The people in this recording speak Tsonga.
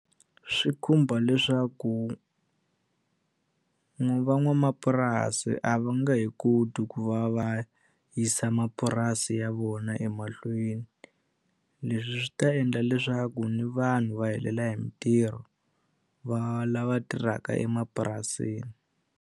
Swi khumba leswaku van'wamapurasi a va nge he koti ku va va yisa mapurasi ya vona emahlweni leswi swi ta endla leswaku ni vanhu va helela hi mintirho va lava tirhaka emapurasini.